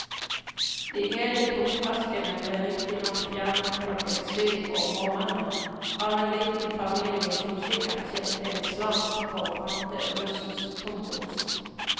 De hele tomflaskene ble riktignok fjernet klokken syv om morgenen av en liten familie som sikkert tjente en slant på å pante russens tomgods.